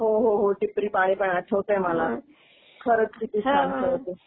हो, हो, हो, टिपरी पाणी पण आठवतंय मला. खरच किती छान खेळ होत.